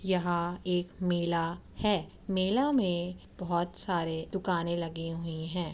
यहा एक मेला है | मेला में बोहोत सारे दुकाने लगे हुए हैं ।